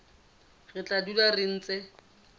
re tla dula re ntse